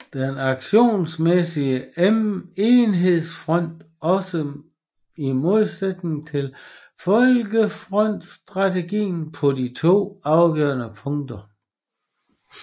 Den aktionsmæssige enhedsfront stod også i modsætning til folkefrontsstrategien på to afgørende punkter